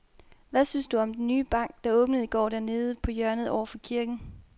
Hvad synes du om den nye bank, der åbnede i går dernede på hjørnet over for kirken?